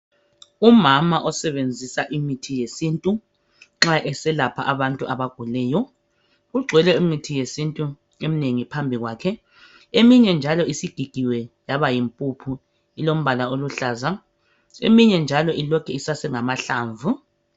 Umama osebenzisa imithi yesintu nxa eselapha abantu abaguleyo kugcwele imithi yesintu eminengi phambili kwakhe eminye njalo isigigiwe yaba yimpuphu ilombala oluhlaza eminye njalo ilokhe isasengamahlamvu